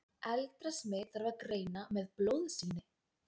eldra smit þarf að greina með blóðsýni